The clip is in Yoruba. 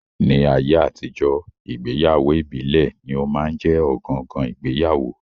Ní ayé àtijọ́, ìgbéyàwó ìbílẹ̀ ní ó máa ń jẹ́ ọ̀gangan ìgbéyàwó